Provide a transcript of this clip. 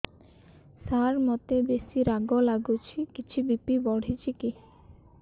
ସାର ମୋତେ ବେସି ରାଗ ଲାଗୁଚି କିଛି ବି.ପି ବଢ଼ିଚି କି